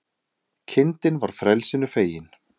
Kindin var frelsinu fegin